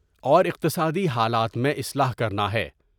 اور اقتصادی حالات میں اصلاح کرنا ہے ۔